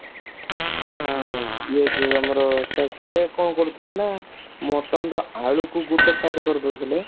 ଇଏ ଯୋଉ ଆମର ସେ କଣ କରୁଥିଲେ ନା mutton ର ଆଳୁ କୁ ଗୋଟେ side କରିଦେଉଥିଲେ